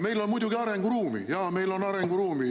Meil on muidugi arenguruumi – jaa, meil on arenguruumi!